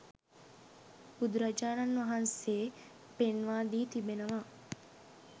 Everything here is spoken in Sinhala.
බුදුරජාණන් වහන්සේ පෙන්වා දී තිබෙනවා